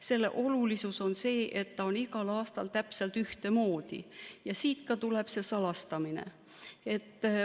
Selle olulisus on see, et ta on igal aastal täpselt ühtemoodi, ja siit tuleb ka see salastamine.